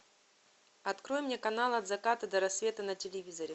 открой мне канал от заката до рассвета на телевизоре